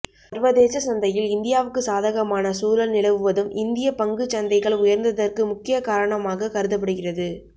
சர்வதேச சந்தையில் இந்தியாவுக்கு சாதகமான சூழல் நிலவுவதும் இந்திய பங்குச் சந்தைகள் உயர்ந்ததற்கு முக்கிய காரணமாக கருதப்படுகிறது